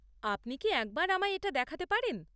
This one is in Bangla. আপনি কি একবার আমায় এটা দেখাতে পারেন?